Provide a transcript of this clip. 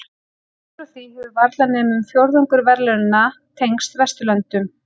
Upp frá því hefur varla nema um fjórðungur verðlaunanna tengst Vesturlöndum.